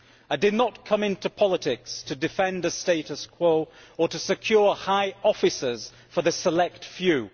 I did not come into politics to defend the status quo or to secure high offices for the select few.